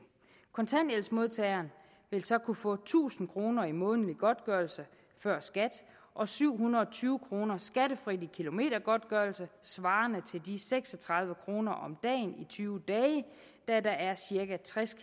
kontanthjælpsmodtageren vil så kunne få tusind kroner i månedlig godtgørelse før skat og syv hundrede og tyve kroner skattefrit i kilometergodtgørelse svarende til seks og tredive kroner om dagen i tyve dage da der er cirka tres